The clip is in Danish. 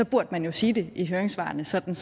burde man jo sige det i høringssvarene sådan